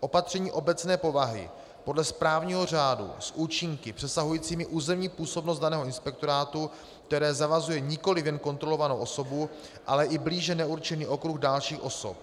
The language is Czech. Opatření obecné povahy podle správního řádu s účinky přesahujícími územní působnost daného inspektorátu, které zavazuje nikoliv jen kontrolovanou osobu, ale i blíže neurčený okruh dalších osob